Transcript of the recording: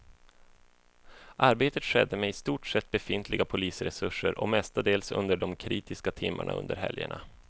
Arbetet skedde med i stort sett befintliga polisresurser och mestadels under de kritiska timmarna under helgerna.